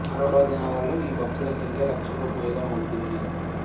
పర్వ దినాలలో ఈ భక్తుల సంఖ్య లక్షకు పైగా ఉంటుంది